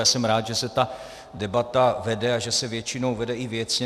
Já jsem rád, že se ta debata vede a že se většinou vede i věcně.